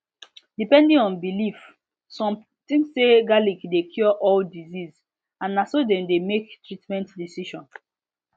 depending on belief some think say garlic dey cure all disease and na so dem dey make treatment decision